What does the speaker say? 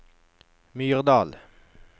Myrdal